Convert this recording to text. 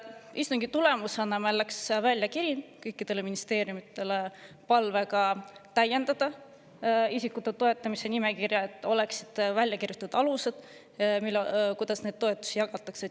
Istungi tulemusena läks meil välja kiri kõikidele ministeeriumidele palvega täiendada isikute toetamise nimekirja, et oleksid välja kirjutatud alused, kuidas neid toetusi jagatakse.